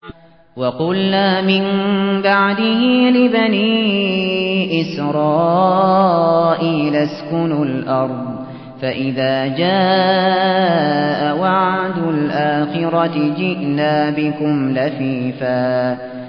وَقُلْنَا مِن بَعْدِهِ لِبَنِي إِسْرَائِيلَ اسْكُنُوا الْأَرْضَ فَإِذَا جَاءَ وَعْدُ الْآخِرَةِ جِئْنَا بِكُمْ لَفِيفًا